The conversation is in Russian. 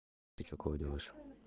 ты что уколы делаешь